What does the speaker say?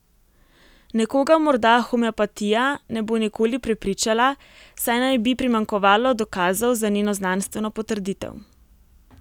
Nekoga morda homeopatija ne bo nikoli prepričala, saj naj bi primanjkovalo dokazov za njeno znanstveno potrditev.